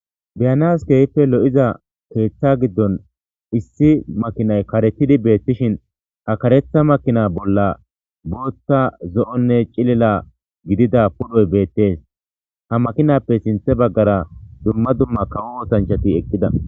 Be'anas keehi lo'iza keeththa giddon issi makinay karetidi beettishin ha kareththa makina bolla booththa zo'onne cilila gidida pudhoy beettes. Ha makinappe sinththe baggara dumma dumma kawo oosanchchcati eqqida.